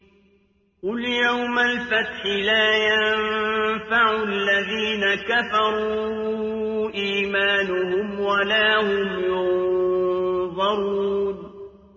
قُلْ يَوْمَ الْفَتْحِ لَا يَنفَعُ الَّذِينَ كَفَرُوا إِيمَانُهُمْ وَلَا هُمْ يُنظَرُونَ